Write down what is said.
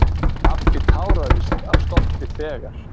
Pabbi táraðist af stolti þegar